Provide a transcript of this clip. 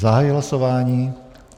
Zahajuji hlasování.